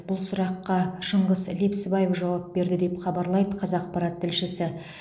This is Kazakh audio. бұл сұраққа шыңғыс лепсібаев жауап берді деп хабарлайды қазақпарат тілшісі